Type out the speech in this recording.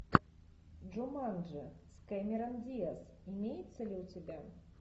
джуманджи с кэмерон диаз имеется ли у тебя